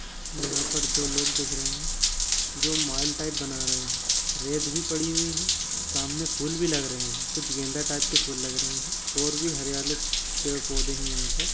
यहाँ पर दो लोग देख रहे हैं जो माल टाइप बना रहे है रेत भी पड़ी हुई है सामने फूल भी लग रहे हैं कुछ गेंदा टाइप के फूल लगे हैं और भी हरयाले पेड़ पौधे हैं यहाँ पर।